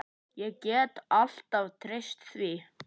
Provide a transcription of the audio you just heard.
Ég gat alltaf treyst því.